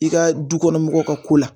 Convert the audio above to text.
I ka du kɔnɔ mɔgɔw ka ko la